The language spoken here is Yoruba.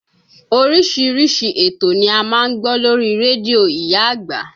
Oríṣiríṣi ètò ni a máa ń gbọ́ lórí rédíò ìyá àgbà